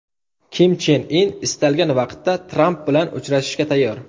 Kim Chen In istalgan vaqtda Tramp bilan uchrashishga tayyor.